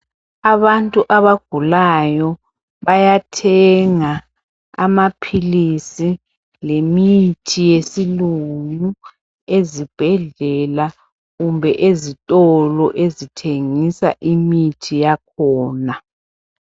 Abantu abagulayo bayathenga amaphilizi lemithi yesilungu ezibhedlela kumbe ezitolo ezithengisa imithi yakhona.